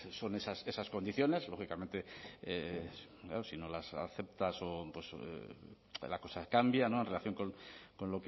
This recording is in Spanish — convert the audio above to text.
son esas condiciones lógicamente si no las aceptas o la cosa cambia en relación con